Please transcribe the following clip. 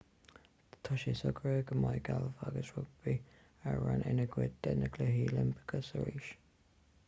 tá sé socraithe go mbeidh gailf agus rugbaí araon ina gcuid de na cluichí oilimpeacha arís